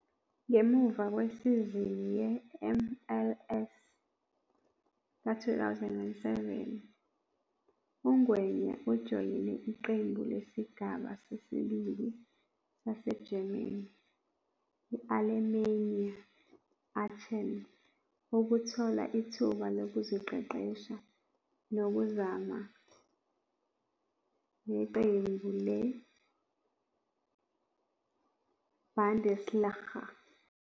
Ngemuva kwesizini yeMLS ka-2007, uNgwenya ujoyine iqembu lesigaba sesibili saseGerman i-Alemannia Aachen ukuthola ithuba lokuziqeqesha nokuzama neqembu leBundesliga.